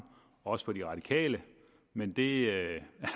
også fra de radikale men det